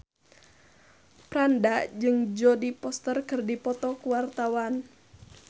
Franda jeung Jodie Foster keur dipoto ku wartawan